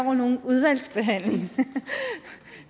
når nogen udvalgsbehandling